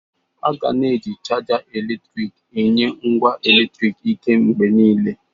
A ga na-eji chaja eletrik na-enye ngwa eletriki ike mgbe niile.